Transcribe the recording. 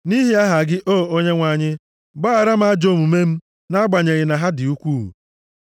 Nʼihi aha gị, O Onyenwe anyị, gbaghara m ajọ omume m nʼagbanyeghị na ha dị ukwuu.